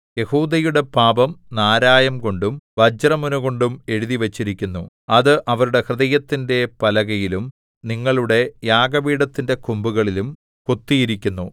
യെഹൂദയുടെ പാപം നാരായംകൊണ്ടും വജ്രമുനകൊണ്ടും എഴുതിവച്ചിരിക്കുന്നു അത് അവരുടെ ഹൃദയത്തിന്റെ പലകയിലും നിങ്ങളുടെ യാഗപീഠത്തിന്റെ കൊമ്പുകളിലും കൊത്തിയിരിക്കുന്നു